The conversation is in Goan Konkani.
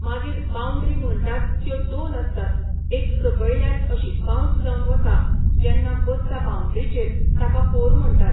मागीर बाउंड्री म्हणटात त्यो दोन आसतात एक सकयल्यान अशी बाउन्स जावन वता जेन्ना बसता बाउंड्रीचेर ताका फोर म्हणटात